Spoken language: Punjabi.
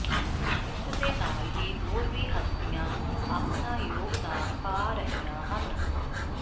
ਇਸਦੇ ਨਾਲ ਹੀ ਹੋਰ ਵੀ ਹਸਤੀਆਂ ਆਪਣਾ ਯੋਗਦਾਨ ਪਾ ਰਹੀਆਂ ਹਨ